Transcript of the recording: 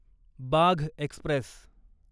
Bagh Express